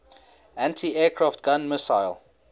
anti aircraft gun missile